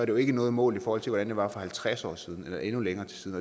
jo ikke noget mod hvordan det var for halvtreds år siden eller endnu længere tid